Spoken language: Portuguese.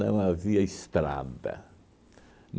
Não havia estrada.